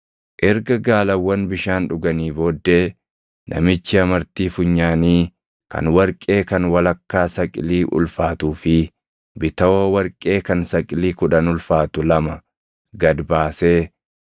Erga gaalawwan bishaan dhuganii booddee namichi amartii funyaanii kan warqee kan walakkaa saqilii ulfaatuu fi bitawoo warqee kan saqilii kudhan ulfaatu lama gad baasee,